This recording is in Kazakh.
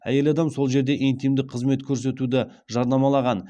әйел адам сол жерде интимдік қызмет көрсетуді жарнамалаған